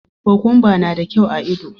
Kukumba na da kyau a ido.